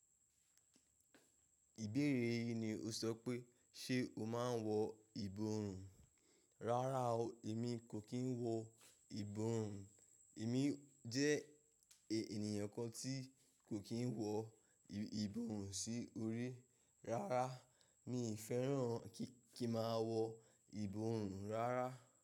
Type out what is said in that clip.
Ìbéèrè yìí ni o sọ pé ṣe o máa ń wọ ìborùn? Rárá o, èmi kò kín wọ ìborùn. Èmi jẹ́ ènìyàn kan tí kò kín wọ ìborùn sí orí rárá. Mi fẹ́ràn kí n màá wọ ìborùn rárá.